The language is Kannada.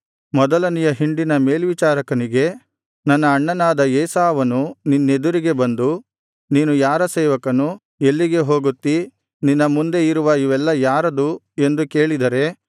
ಮೊದಲನೆಯ ಹಿಂಡಿನ ಮೇಲ್ವಿಚಾರಕನಿಗೆ ನನ್ನ ಅಣ್ಣನಾದ ಏಸಾವನು ನಿನ್ನೆದುರಿಗೆ ಬಂದು ನೀನು ಯಾರ ಸೇವಕನು ಎಲ್ಲಿಗೆ ಹೋಗುತ್ತೀ ನಿನ್ನ ಮುಂದೆ ಇರುವ ಇವೆಲ್ಲಾ ಯಾರದು ಎಂದು ಕೇಳಿದರೆ